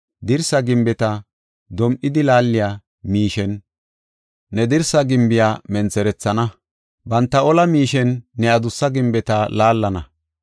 Dirsa gimbeta dom7idi laaliya miishen ne dirsa gimbiya mentherethana; banta ola miishen ne adussa gimbeta laallana.